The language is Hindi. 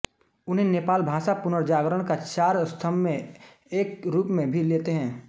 उन्हे नेपालभाषा पुनर्जागरण का चार स्तम्भ मै एक के रूप मै भी लेते है